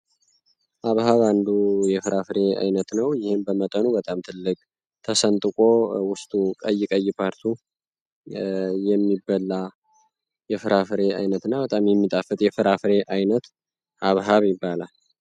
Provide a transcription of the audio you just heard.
ሃብሃብ አንዱ የፍራፍሬ አይነት ነው ይህም በመጠኑ በጣም ትልቅ ተሰንጥቆ ውስጡ ቀይ ቀይ ፓርቱ የሚበላ የፍራፍሬ አይነት እና በጣም የሚጣፍጥ የፍራፍሬ አይነት ሃብሃብ ይባላል።